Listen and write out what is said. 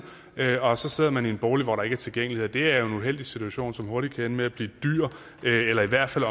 og så sidder man i en bolig hvor der ikke er tilgængelighed det er jo en uheldig situation som hurtigt kan ende med at blive dyr eller i hvert fald